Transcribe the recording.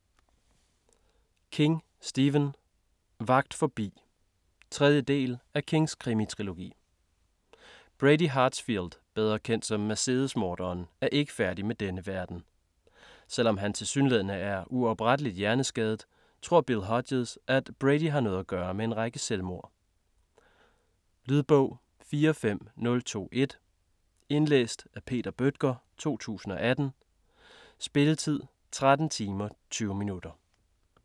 King, Stephen: Vagt forbi 3. del af Kings krimi-trilogi. Brady Hartsfield, bedre kendt som Mercedesmorderen, er ikke færdig med denne verden. Selvom han tilsyneladende er uoprettelig hjerneskadet, tror Bill Hodges, at Brady har noget at gøre med en række selvmord. Lydbog 45021 Indlæst af Peter Bøttger, 2018. Spilletid: 13 timer, 20 minutter.